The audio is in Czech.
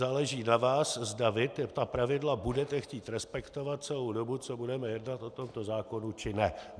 Záleží na vás, zda vy ta pravidla budete chtít respektovat celou dobu, co budeme jednat o tomto zákonu, či ne.